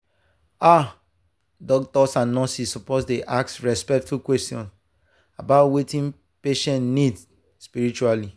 ah doctors and nurses suppose dey ask respectful questions about wetin patient need spiritually.